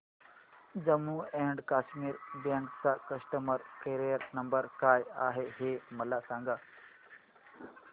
Jammu and Kashmir bank चा customer care number काय आहे हे मला सांगा